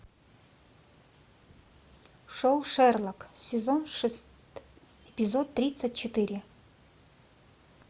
шоу шерлок сезон шестой эпизод тридцать четыре